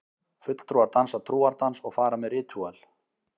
Fulltrúar dansa trúardans og fara með ritúöl.